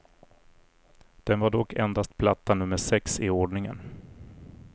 Den var dock endast platta nummer sex i ordningen.